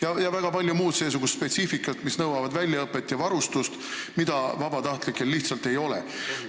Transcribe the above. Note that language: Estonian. On veel väga palju muud seesugust spetsiifikat, mis nõuab väljaõpet ja varustust, mida vabatahtlikel lihtsalt ei ole.